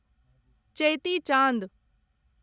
चेति चाँद